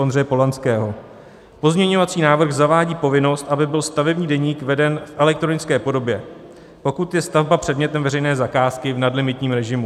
Ondřeje Polanského: Pozměňovací návrh zavádí povinnost, aby byl stavební deník veden v elektronické podobě, pokud je stavba předmětem veřejné zakázky v nadlimitním režimu.